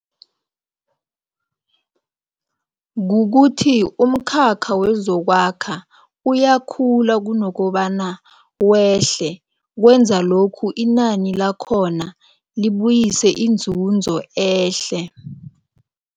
Kukuthi umkhakha wezokwakha uyakhula kunokobana wehle, kwenza lokhu inani lakhona libuyise inzuzo ehle.